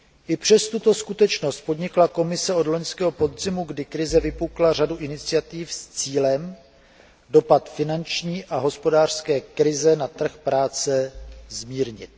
I přes tuto skutečnost podnikla Komise od loňského podzimu, kdy krize vypukla, řadu iniciativ s cílem dopad finanční a hospodářské krize na trh práce zmírnit.